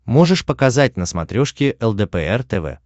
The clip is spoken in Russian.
можешь показать на смотрешке лдпр тв